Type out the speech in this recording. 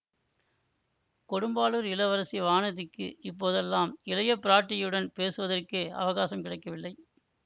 கொடும்பாளூர் இளவரசி வானதிக்கு இப்போதெல்லாம் இளைய பிராட்டியுடன் பேசுவதற்கே அவகாசம் கிடைக்கவில்லை